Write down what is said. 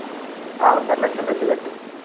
ആഹ് ഒന്നര ലക്ഷം വെച്ച് കെട്ടി.